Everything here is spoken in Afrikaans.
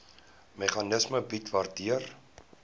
meganisme bied waardeur